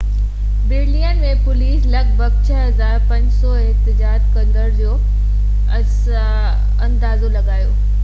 Berlin ۾، police لڳ ڀڳ 6،500 احتجاج ڪندڙن جو اندازو لڳايو